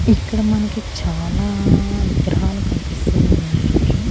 ఇక్కడ మనకి చాలా విగ్రహాలు కనిపిస్తూ ఉన్నాయండి.